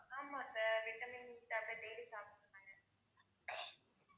ஆமா sir vitamin tablet daily சாப்பிட சொன்னாங்க